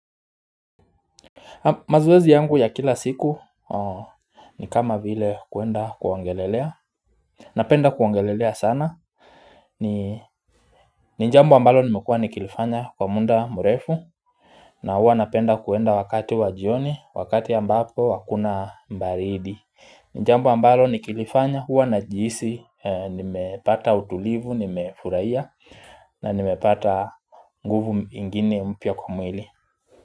Mazoezi yangu ya kila siku ni kama vile kuenda kuongelelea Napenda kuongelelea sana ni jambo ambalo nimekua nikilifanya kwa muda murefu na hua napenda kuenda wakati wajioni, wakati ambapo wakuna mbaridi ni jambo ambalo nikilifanya huwa najihisi Nimepata utulivu, nimefurahiya na nimepata nguvu ingine mpya kwa mwili.